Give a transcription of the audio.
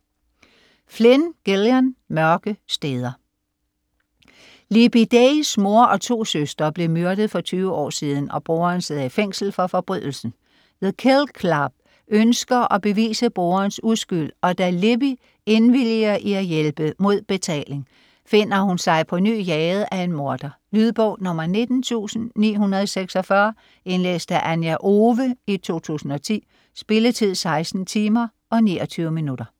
Flynn, Gillian: Mørke steder Libby Days mor og to søstre blev myrdet for 20 år siden, og broderen sidder i fængsel for forbrydelsen. The Kill Club ønsker at bevise broderens uskyld, og da Libby indvilliger i at hjælpe - mod betaling - finder hun sig på ny jaget af en morder. Lydbog 19946 Indlæst af Anja Owe, 2010. Spilletid: 16 timer, 29 minutter.